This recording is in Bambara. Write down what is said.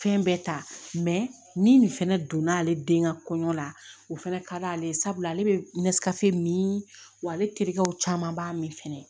Fɛn bɛɛ ta ni nin fɛnɛ donna ale den ka kɔɲɔ la o fɛnɛ ka d'ale ye sabula ale bɛ min wa ale terikɛw caman b'a min fɛnɛ